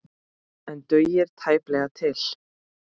En dugir tæplega til.